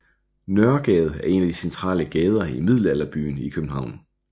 Nørregade er en af de centrale gader i Middelalderbyen i København